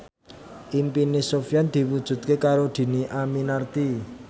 impine Sofyan diwujudke karo Dhini Aminarti